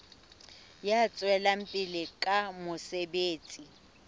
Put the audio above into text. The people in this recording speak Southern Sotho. ya tswelang pele ka mosebetsi